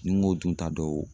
Ni n ko dun ta dɔw